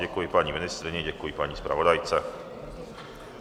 Děkuji paní ministryni, děkuji paní zpravodajce.